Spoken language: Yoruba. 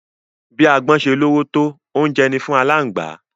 Bi agbọ́n ṣe lóró tó, oúnjẹ ni fún aláǹgbá.